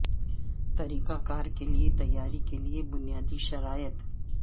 طریقہ کار کے لئے تیاری کے لئے بنیادی شرائط